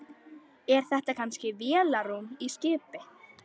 Er þetta kannski vélarrúm í skipi?